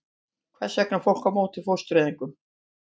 Hvers vegna er fólk á móti fóstureyðingum?